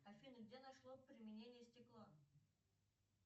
афина где нашло применение стекло